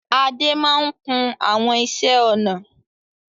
Adé máa ń kun àwọn iṣẹ́-ọnà.